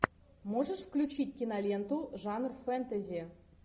можешь включить киноленту жанр фэнтези